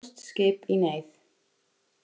Pólskt skip í neyð